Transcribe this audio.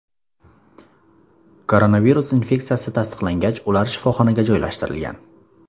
Koronavirus infeksiyasi tasdiqlangach, ular shifoxonaga joylashtirilgan.